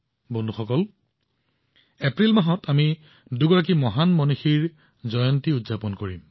বন্ধুসকল এপ্ৰিল মাহত আমি দুগৰাকী মহান ব্যক্তিত্বৰ জন্ম বাৰ্ষিকীও উদযাপন কৰিম